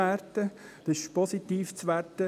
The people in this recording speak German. Das ist positiv zu werten.